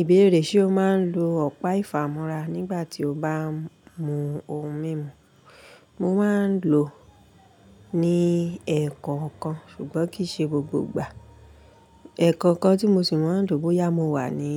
Ìbéèrè ṣe o máa ń lo ọ̀pá ìfàmúra nígbà tí o bá ń mu ohun mímu? Mo máa ń lò ó ní ẹ̀ẹ̀kan kan ṣùgbọ́n kì í ṣe gbogbo ìgbà. Ẹ̀ẹ̀kan kan tí mo sì máa ń lò bóyá mo wà ní,